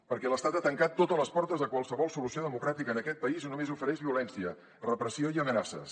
perquè l’estat ha tancat totes les portes a qualsevol solució democràtica en aquest país i només ofereix violència repressió i amenaces